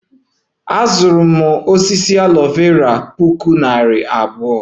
Azụrụ m osisi aloe Vera maka puku naira abụọ